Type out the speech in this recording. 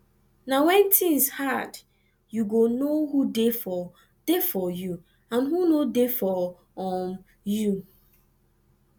na when things hard youy go know who dey for dey for you and who no dey for um you